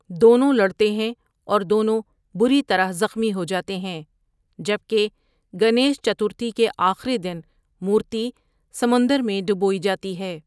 دونوں لڑتے ہیں اور دونوں بری طرح زخمی ہو جاتے ہیں، جبکہ گنیش چترتھی کے آخری دن مورتی سمندر میں ڈوبویی جاتی ہے۔